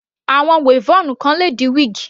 Àwọn weavon kan le di wíígì.